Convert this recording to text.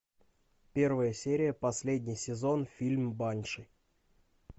первая серия последний сезон фильм банши